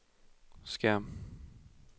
skærm